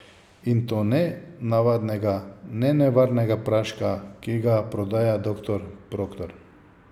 In to ne navadnega, nenevarnega praška, ki ga prodaja doktor Proktor.